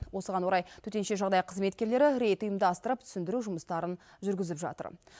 осыған орай төтенше жағдай қызметкерлері рейд ұйымдастырып түсіндіру жұмыстарын жүргізіп жатыр